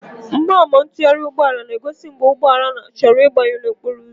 Mgbama ntụgharị ụgbọ ala na-egozi mgbe ụgbọ ala chọrọ ịgbanwuo n'okporo ụzọ.